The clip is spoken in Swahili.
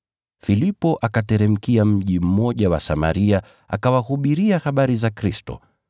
Filipo akateremkia mji mmoja wa Samaria akawahubiria habari za Kristo